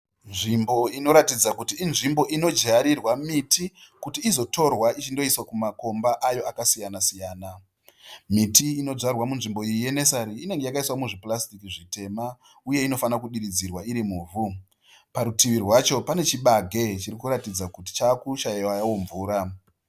Nzvimbo inoratidza kuti inzvimbo inodyarirwa miti kuti izotorwa ichindoiswa mumakomba ayo akasiyana siyana. Miti indyarwa munzvmbo iyi ye nesari inenge yakaiswa muzvipurasitiki zvitema, uye inofanira kudiridzirwa iri mirumu. Parutivi pacho pane chibage chirikuratidza kuti chavakushaiwawo mvura.